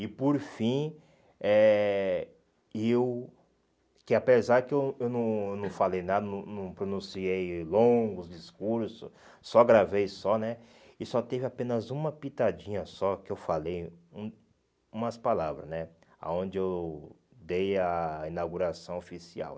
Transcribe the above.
E por fim, eh e eu que apesar que eu eu não eu não falei nada, não não pronunciei longos discursos, só gravei só né, e só teve apenas uma pitadinha só que eu falei hum umas palavras né, aonde eu dei a inauguração oficial.